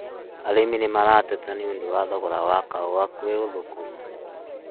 Arĩmĩ nĩmarateta nĩũndũ wa thogora wa kahũa kwĩ ũthũkũmu